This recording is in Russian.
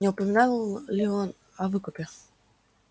не упоминал ли он о выкупе